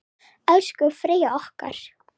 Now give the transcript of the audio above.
Elsku Freyja okkar.